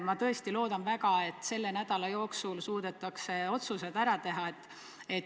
Ma tõesti väga loodan, et selle nädala jooksul suudetakse otsused ära teha.